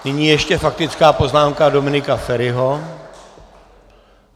Nyní ještě faktická poznámka Dominika Feriho.